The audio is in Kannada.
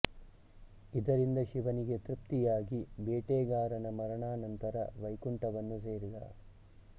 ಇದರಿಂದ ಶಿವನಿಗೆ ತ್ರುಪ್ತಿಯಾಗಿ ಬೇಟೆ ಗಾರನ ಮರಣಾನಂತರ ವೈಕುಂಠವನ್ನು ಸೇರಿದ